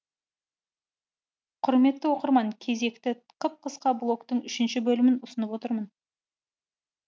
құрметті оқырман кезекті қып қысқа блогтың үшінші бөлімін ұсынып отырмын